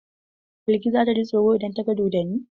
Balki za ta ji tsoro idan ta ga dodonni?